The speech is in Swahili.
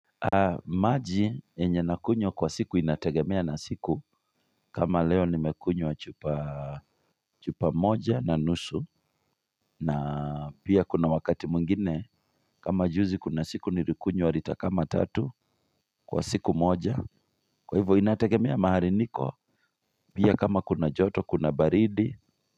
Maji yenye nakunywa kwa siku inategemea na siku kama leo nimekunywa wachupa chupa moja na nusu na pia kuna wakati mwingine kama juzi kuna siku nirikunywa lita kama tatu Kwa siku moja Kwa hivo inategemea mahariniko Pia kama kuna joto kuna baridi.